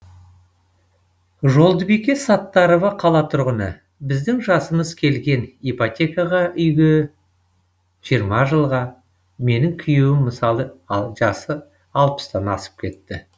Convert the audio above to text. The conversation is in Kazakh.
жолдыбике саттарова қала тұрғыны біздің жасымыз келген ипотекаға үйге жиырма жылға менің күйеуім мысалы жасы алпыстан асып кетті